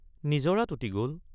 নিজৰাত উটি গল।